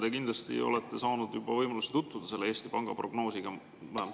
Te kindlasti olete saanud võimaluse tutvuda selle Eesti Panga prognoosiga.